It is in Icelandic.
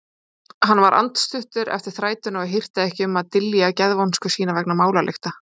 Hann var andstuttur eftir þrætuna og hirti ekki um að dylja geðvonsku sína vegna málalykta.